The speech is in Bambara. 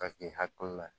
Ka k'i hakili la ye